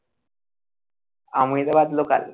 Ahmedabad local